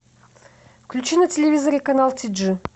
включи на телевизоре канал ти джи